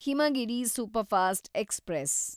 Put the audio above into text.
Himagiri superfast express